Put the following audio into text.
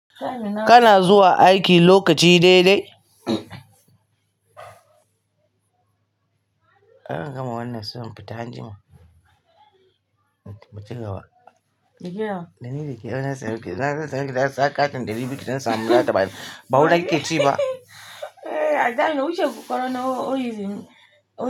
Kana zuwa aiki lokaci dai dai? Ana gama wannan sun fita anjima. Mu cigaba? Da ni da ke. Zan sa maki katin dari biyu ki dan samun data ba. Ba wuri na kike ci ba. Zamu wuce ku ƙwaro na Orizin.